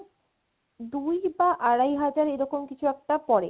দুই বা আড়াই হাজার এরকম কিছু একটা পরে